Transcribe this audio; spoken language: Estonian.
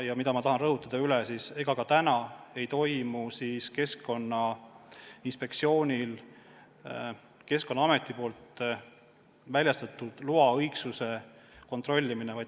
Ja mida ma tahan üle rõhutada: ega ka praegu Keskkonnainspektsioon Keskkonnaameti väljastatud loa õigsust ei kontrolli.